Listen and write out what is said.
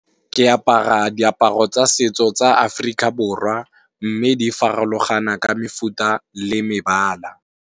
Ke apara diaparo tsa setso tsa Africa Borwa, mme di farologana ka mefuta le mebala.